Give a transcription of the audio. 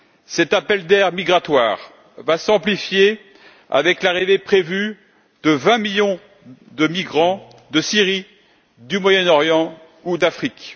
Cet appel d'air migratoire va s'amplifier avec l'arrivée prévue de 20 millions de migrants de Syrie, du Moyen Orient ou d'Afrique.